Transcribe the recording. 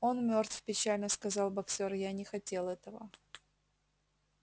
он мёртв печально сказал боксёр я не хотел этого